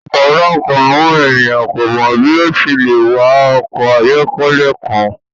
Ọpọlọpọ awọn eniyan ko mọ bi o ṣe le wa ọkọ ayọkẹlẹ kan